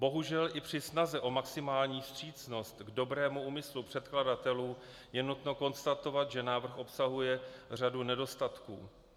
Bohužel i při snaze o maximální vstřícnost k dobrému úmyslu předkladatelů je nutno konstatovat, že návrh obsahuje řadu nedostatků.